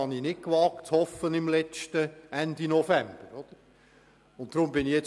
Noch Ende November hätte ich dies nicht zu hoffen gewagt.